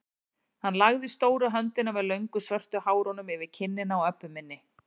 Hann lagði stóru höndina með löngu svörtu hárunum yfir kinnina á Öbbu hinni.